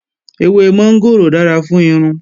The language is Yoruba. Ewé mọ́ngòrò dára fún irun